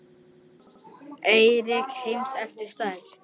Eyríki heims eftir stærð